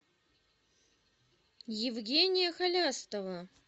евгения халястова